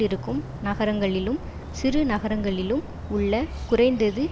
இருக்கும் நகரங்களிலும் சிறு நகரங்களிலும் உள்ள குறைந்தது